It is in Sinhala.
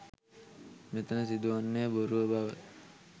මෙතන සිදුවන්නේ බොරුව බව